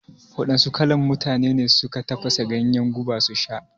Wadanna kalan mutane ne suka tafasa ganyen guba su sha?